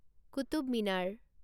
Qutub Minar